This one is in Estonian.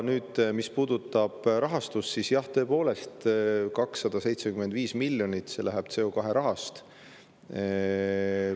Mis puudutab rahastust, siis jah, tõepoolest, see 275 miljonit tuleb CO2 rahast.